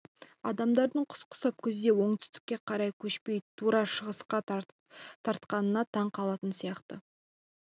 адамдардың құс құсап күзде оңтүстікке қарай көшпей тура шығысқа тартқанына таң қалатын сияқты